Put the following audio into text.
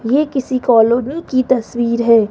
ये किसी कॉलोनी की तस्वीर है।